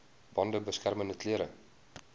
bande beskermende klere